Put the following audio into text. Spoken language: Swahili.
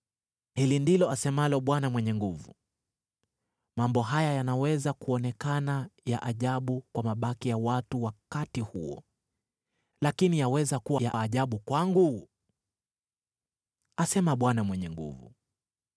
Hili ndilo asemalo Bwana Mwenye Nguvu Zote: “Mambo haya yanaweza kuonekana ya ajabu kwa mabaki ya watu wakati huo, lakini yaweza kuwa ya ajabu kwangu?” asema Bwana Mwenye Nguvu Zote.